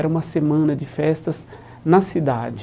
Era uma semana de festas na cidade.